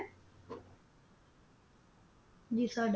ਜੀ ਸਾਡਾ